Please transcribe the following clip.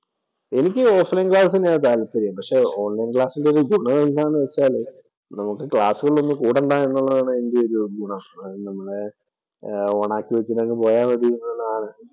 എനിക്ക് offline‍ class തന്നെയാ താല്പര്യം. പക്ഷെ ഓണ്‍ ലൈന്‍റെ ഗുണം എന്താന്ന് വച്ചാലെ നമുക്ക് ക്ലാസ്സുകളില്‍ ഒന്നും കൂടണ്ടാ എന്നുള്ളതാണ് വലിയ ഒരു ഗുണം. ഓണ്‍ ആക്കി വച്ചിട്ട് അങ്ങ് പോയാ മതി